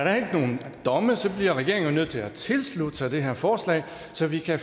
er nogen domme bliver regeringen jo nødt til at tilslutte sig det her forslag så vi kan